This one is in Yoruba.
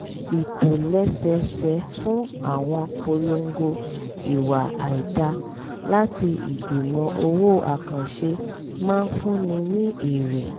ìtòlẹ́sẹẹsẹ fún àwọn polongo ìwà àìdáa láti ìgbìmọ̀ òwò àkànṣe máa fúnni ní èrè